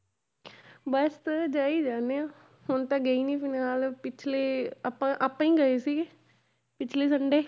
ਬਸ ਜਾਈ ਜਾਂਦੇ ਹਾਂ, ਹੁਣ ਤਾਂ ਗਈ ਨੀ ਫਿਲਹਾਲ ਪਿੱਛਲੇ ਆਪਾਂ ਆਪਾਂ ਹੀ ਗਏ ਸੀਗੇ ਪਿੱਛਲੇ Sunday